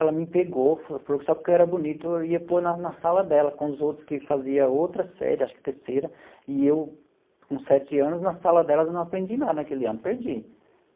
Ela me pegou, falou que só porque eu era bonito, ia pôr na na sala dela, com os outros que fazia outra série, acho que terceira, e eu, com sete anos, na sala dela não aprendi nada naquele ano, perdi.